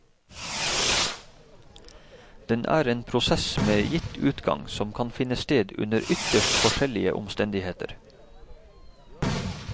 Den er en prosess med gitt utgang, som kan finne sted under ytterst forskjellige omstendigheter.